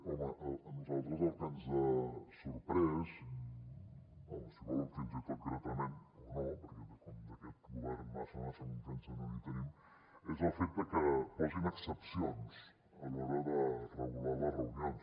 home a nosaltres el que ens ha sorprès home si volen fins i tot gratament o no perquè com d’aquest govern massa massa confiança no en tenim és el fet que posin excepcions a l’hora de regular les reunions